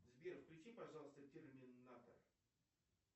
сбер включи пожалуйста терминатор